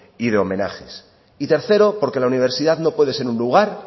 y homenajes y tercero porque la universidad no puede ser un lugar